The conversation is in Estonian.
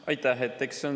Aitäh!